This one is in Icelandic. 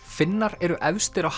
Finnar eru efstir á